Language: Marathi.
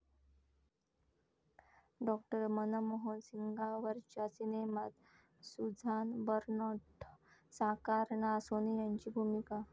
डॉ. मनमोहन सिंगांवरच्या सिनेमात सुझान बरनर्ट साकारणार सोनियांची भूमिका